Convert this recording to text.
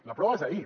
la prova és ahir